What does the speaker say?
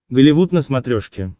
голливуд на смотрешке